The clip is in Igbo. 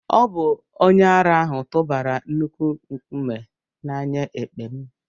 Ọ bụ onye ara ahụ tụbara nnukwu nkume na anya èkpè m